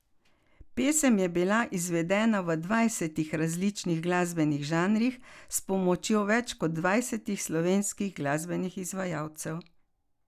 Pesem je bila izvedena v dvajsetih različnih glasbenih žanrih s pomočjo več kot dvajsetih slovenskih glasbenih izvajalcev.